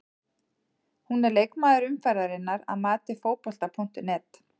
Hún er leikmaður umferðarinnar að mati Fótbolta.net.